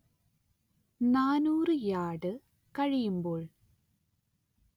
നാനൂറ് യാർഡ് കഴിയുമ്പോൾ